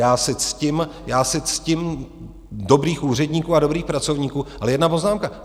Já si ctím dobrých úředníků a dobrých pracovníků, ale jedna poznámka.